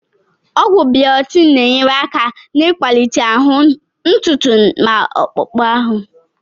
Ọgwụ biotin na-enyere aka n'ịkwalite ahụ, ntutu ma akpụkpọ ahụ